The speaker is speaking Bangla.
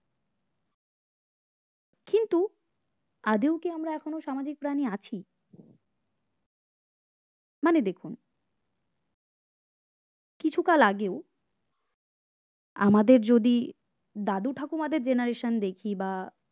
আদৌ কি আমরা এখনো সামাজিক প্রাণী আছি মানে দেখুন কিছু কাল আগেও আমাদের যদি দাদু ঠাকুমাদের generation দেখি বা